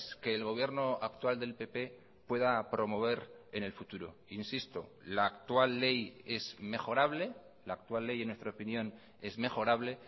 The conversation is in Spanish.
que el gobierno actual del pp pueda promover en el futuro insisto la actual ley es mejorable la actual ley en nuestra opinión es mejorable